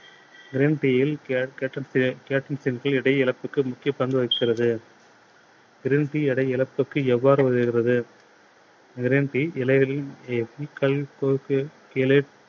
green tea யில் எடை இழப்புக்கு முக்கிய பங்கு வகிக்கிறது. green tea எடை இழப்புக்கு எவ்வாறு உதவுகிறது? green tea